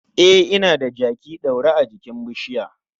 E, ina da jaki ɗaure jikin bishiya.